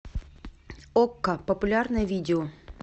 окко популярное видео